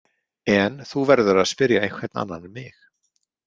En þú verður að spyrja einhvern annan en mig.